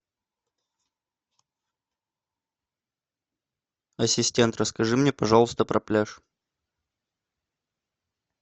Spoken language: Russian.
ассистент расскажи мне пожалуйста про пляж